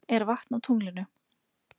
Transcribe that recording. Er vatn á tunglinu?